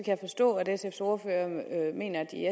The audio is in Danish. jeg forstå at sfs ordfører mener at de